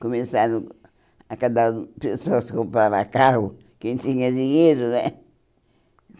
começaram a cada pessoa se comprar a carro, quem tinha dinheiro, né?